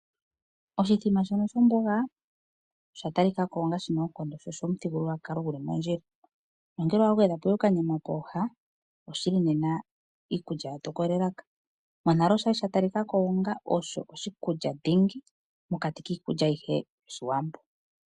Oshikulya shono shomboga osha talika ko shina oonkondo sho oshomuthigululwakalo guli mondjila nongele owa gwedha ko ihe okanyama pooha oshili nena iikulya ya tokola elaka monale oshali sha talikako onga osho oshikulya dhingi mokati kiikulya ayihe yOshiwambo.